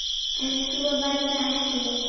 En svo varð ekki.